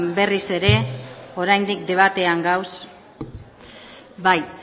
berriz ere oraindik debatean gaude bai